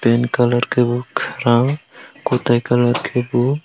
pant colour ke bo karkang kotai kalar ke bo.